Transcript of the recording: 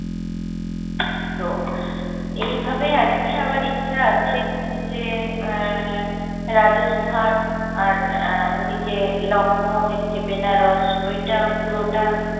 তো এইভাবে আর কী আবার ইচ্ছা আছে যে এ্যা রাজস্থান আর ওইদিকে লখনাউ এদিকে বেনারস ওইটা পুরোটা